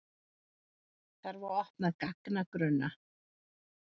Þarf að opna gagnagrunna